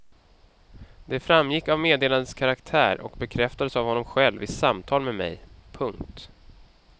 Det framgick av meddelandets karaktär och bekräftades av honom själv i samtal med mig. punkt